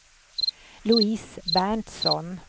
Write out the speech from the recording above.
Louise Berntsson